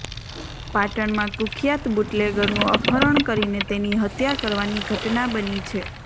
પાટલમાં કુખ્યાત બુટલેગરનું અપહરણ કરીને તેની હત્યા કરવાની ઘટના બની છે